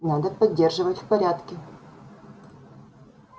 надо поддерживать в порядке